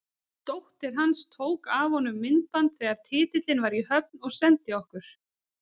Dóttir hans tók af honum myndband þegar titillinn var í höfn og sendi okkur.